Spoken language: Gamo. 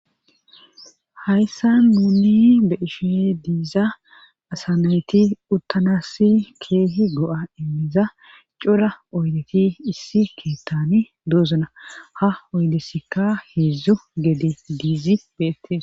hayssa nuunni be ishe diiza asanayti uttanassi keehi go7a immiza cura oydeti issi keettani doozuna ha oydesika heedzdzu gede diizi beettes